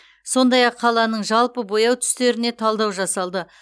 сондай ақ қаланың жалпы бояу түстеріне талдау жасалды